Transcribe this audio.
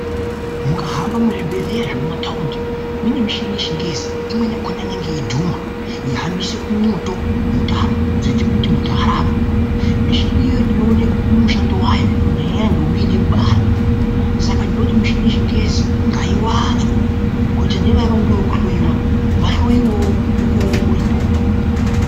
Mukahamba muzvibhehleya zvemumataundi mune mishini yechingezi imweni yakona jnenge yeidhuma yeihambisa mwoto mutambo dzekuti muntu arapwe. Mishini iyoyo inoone mushando wayo kunyanya nyanya ntombi yode kubara saka ndinoti mishini yechingezi ngaiwanzwe kuitira nevaya vanode kuhloyiwa vahloyiwewo mukuwo uripo.